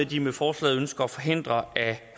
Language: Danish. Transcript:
de med forslaget ønsker at forhindre at